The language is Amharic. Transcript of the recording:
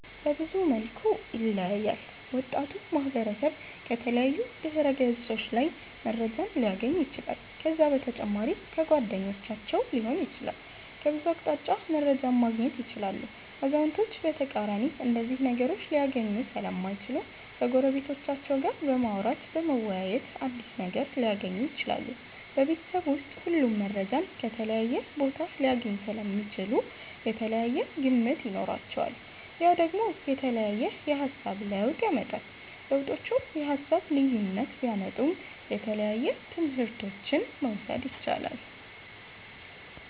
በብዙ መልኩ ይለያያል ወጣቱ ማህበረሰብ ከተለያዩ ድህረ ገፆች ላይ መረጃን ሊያገኝ ይችላል ከዛ በተጨማሪ ከጓደኞቻቸዉ ሊሆን ይችላል ከብዙ አቅጣጫ መረጃን ማገኘት ይችላሉ አዛዉነቶች በተቃራኒ እነዚህን ነገሮች ሊያገኙ ሰለማይችሉ ከጎረቤቶቻቸዉ ጋር በማዉራተ በመወያየት አዲስ ነገር ሊያገኙ ይችላሉ። ቤበተሰብ ዉስጥ ሁሉም መረጃን ከተለያየ ቦታ ሊያገኙ ሰለሚችሉ የተለያየ ግምት ይኖራቸዋል ያ ደግሞ የተለያየ የሃሳብ ለዉጥ ያመጣል። ለዉጦቹ የሃሳብ ልዩነት ቢያመጡም የተለያየ ትምህረቶችን መዉሰድ የቻላል